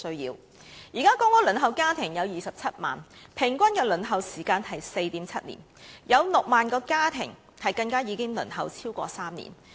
現時輪候公屋的家庭有27萬，平均輪候時間是 4.7 年，有6萬個家庭更已輪候超過3年。